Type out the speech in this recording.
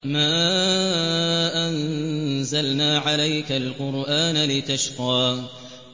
مَا أَنزَلْنَا عَلَيْكَ الْقُرْآنَ لِتَشْقَىٰ